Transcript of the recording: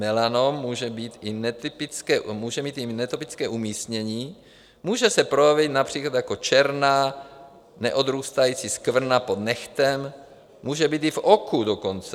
Melanom může mít i netypické umístění, může se projevit například jako černá neodrůstající skvrna pod nehtem, může být i v oku dokonce.